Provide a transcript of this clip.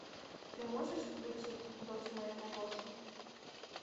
ты можешь включить дочь моего босса